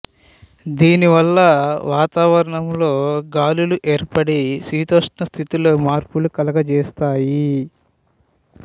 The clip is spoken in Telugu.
దీని వల్ల వాతావరణంలో గాలులు ఏర్పడి శీతోష్ణ స్థితిలో మార్పులు కలుగజేస్తాయి